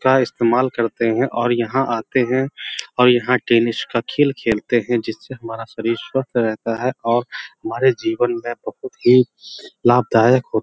का इस्तमाल करते हैं और यहां आते हैं और यहां टेनिस का खेल खेलते हैं जिससे हमारा शरीर स्वस्थ रेहता है और हमारे जीवन में बोहोत ही लाभदायक हो --